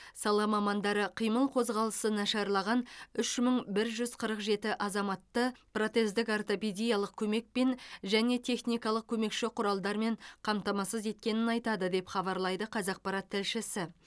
сала мамандары қимыл қозғалысы нашарлаған үш мың бір жүз қырық жеті азаматты протездік ортопедиялық көмекпен және техникалық көмекші құралдармен қамтамасыз еткенін айтады деп хабарлайды қазақпарат тілшісі